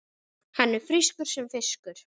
Hann er frískur sem fiskur.